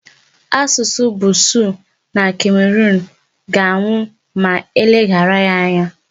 Asụsụ Busuu na Cameroon ga-anwụ ma e leghara ya anya.